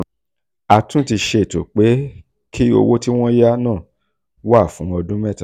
a tún um ti ṣètò pé kí owó tí wọ́n yá náà wà fún ọdún mẹ́ta.